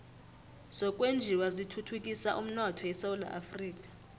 zokwenjiwa zithuthukisa umnotho esewula afrika